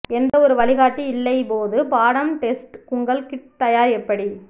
எந்த ஒரு வழிகாட்டி இல்லை போது பாடம் டெஸ்ட் உங்கள் கிட் தயார் எப்படி